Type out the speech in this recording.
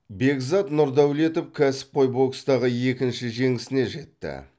бекзат нұрдәулетов кәсіпқой бокстағы екінші жеңісіне жетті